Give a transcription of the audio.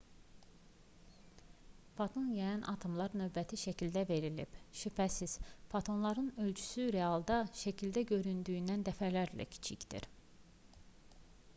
foton yayan atomlar növbəti şəkildə verilib şübhəsiz fotonların ölçüsü realda şəkildə göründüyündən dəfələrlə kiçikdir